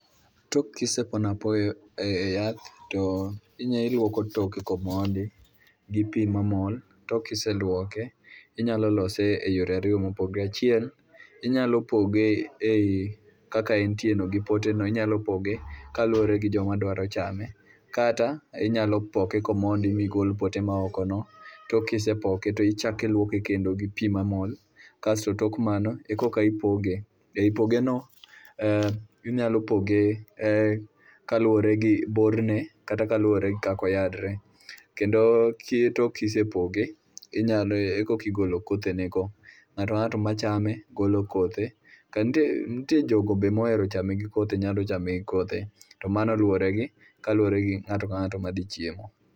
Tok kisepono apoyo e yath, to inya iluoko toke komondi gi pi mamol, tok kiseluoke inyalo lose e yore ariyo mopogre. Achiel, inyalo poge ei kaka entieno gipote no inyalo poge kaluwore gi joma dwaro chame. Kata inyalo poke komondi migol pote maokono, tok kisepoke to ichak iluoke kendo gi pi mamol, kasto tok mano ekoka ipoge. Ei pogeno, inyalo poge kaluwore gi borne kata kaluwore gi kaka oyarre. Kendo sie tok kisepog, inyalo ekoka igolo kothenego. Nga'to ka ng'ato ma chame golo kothe, nitie jogo be ma oere gi kothe nyalo chame gi kothe to mano luwore gi, kaluwore gi ng'ato ka ng'ato ma dhi chiemo.